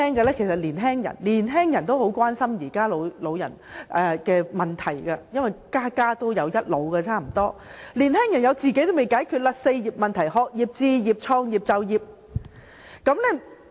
年輕人也十分關心現在的老年問題，因為差不多家家也有一老，而年輕人連自己的"四業"問題還未解決。